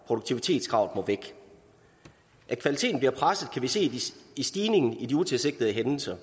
produktivitetskravet må væk at kvaliteten bliver presset kan vi se i stigningen i de utilsigtede hændelser